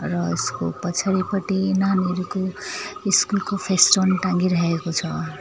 यसको पछाडिपटि नानीहरूको स्कूलको फेसटन टाङ्गिरहेको छ।